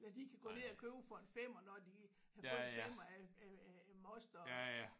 Ja de kan gå ned og købe for en femmer når de har fået en femmer af af af moster